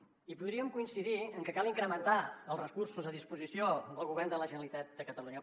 i podríem coincidir en que cal incrementar els recursos a disposició del govern de la generalitat de catalunya